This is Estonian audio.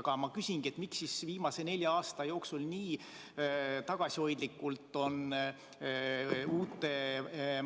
Aga ma küsingi: miks siis viimase nelja aasta jooksul nii tagasihoidlikult on uute